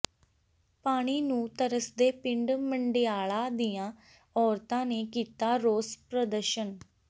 ਪਾਣੀ ਨੂੰ ਤਰਸਦੇ ਪਿੰਡ ਮੰਡਿਆਲਾ ਦੀਆਂ ਔਰਤਾਂ ਨੇ ਕੀਤਾ ਰੋਸ ਪ੍ਰਦਰਸ਼ਨ